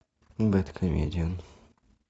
бэдкомедиан